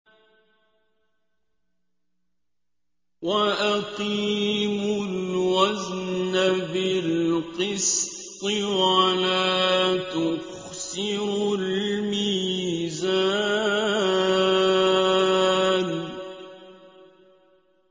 وَأَقِيمُوا الْوَزْنَ بِالْقِسْطِ وَلَا تُخْسِرُوا الْمِيزَانَ